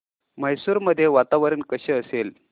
मैसूर मध्ये वातावरण कसे असेल